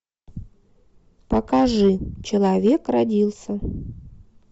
покажи человек родился